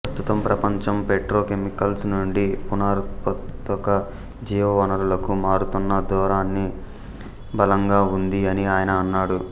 ప్రస్తుతం ప్రపంచం పెట్రోకెమికల్స్ నుండి పునరుత్పాదక జీవ వనరులకు మారుతున్న ధోరణి బలంగా ఉంది అని ఆయన అన్నాడు